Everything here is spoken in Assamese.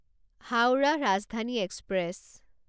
হাউৰাহ ৰাজধানী এক্সপ্ৰেছ